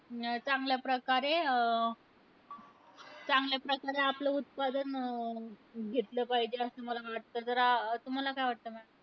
चांगल्या प्रकारे अं चांगल्या प्रकारे आपलं उत्पादन अं घेतलं पाहिजे असं मला वाटतं. तर तुम्हाला काय वाटतं maam?